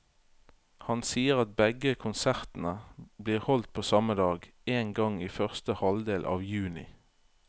Han sier at begge konsertene blir holdt på samme dag, en gang i første halvdel av juni.